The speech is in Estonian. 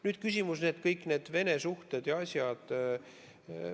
Nüüd küsimus kõigi nende Vene suhete ja asjade kohta.